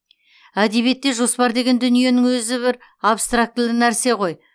әдебиетте жоспар деген дүниенің өзі абстрактілі нәрсе ғой